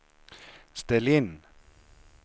ställ in